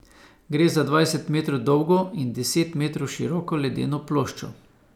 Gre za dvajset metrov dolgo in deset metrov široko ledeno ploščo.